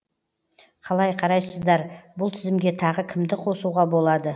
қалай қарайсыздар бұл тізімге тағы кімді қосуға болады